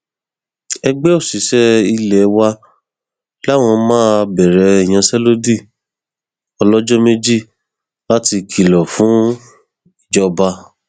ẹgbẹ òṣìṣẹ ilé wa làwọn máa bẹrẹ ìyanṣẹlódì ọlọjọ méjì láti kìlọ fún ìjọba